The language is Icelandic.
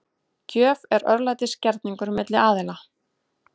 Gjöf er örlætisgerningur milli aðila.